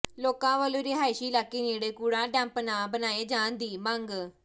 ਲੋਕਾਂ ਵੱਲੋਂ ਰਿਹਾਇਸ਼ੀ ਇਲਾਕੇ ਨੇੜੇ ਕੂੜਾ ਡੰਪ ਨਾ ਬਣਾਏ ਜਾਣ ਦੀ ਮੰਗ